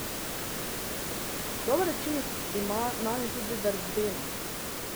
Dober učinek ima nanjo tudi verbena.